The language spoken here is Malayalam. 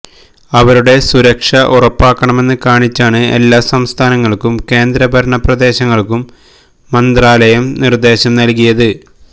അവരുടെ സുരക്ഷ ഉറപ്പാക്കണമെന്ന് കാണിച്ചാണ് എല്ലാ സംസ്ഥാനങ്ങള്ക്കും കേന്ദ്ര ഭരണ പ്രദേശങ്ങള്ക്കും മന്ത്രാലയം നിര്ദേശം നല്കിയത്